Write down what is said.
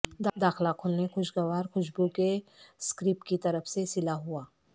داخلہ کھلونے خوشگوار خوشبو کے سکریپ کی طرف سے سلا ہوا